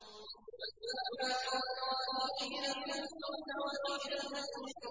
فَسُبْحَانَ اللَّهِ حِينَ تُمْسُونَ وَحِينَ تُصْبِحُونَ